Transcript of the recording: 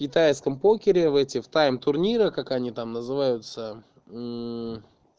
в китайском покере в этих тайм турнирах как они там называются